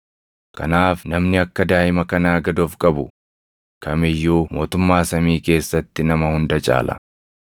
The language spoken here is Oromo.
Kanaaf namni akka daaʼima kanaa gad of qabu kam iyyuu mootummaa samii keessatti nama hunda caala.